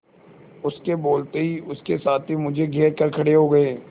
उसके बोलते ही उसके साथी मुझे घेर कर खड़े हो गए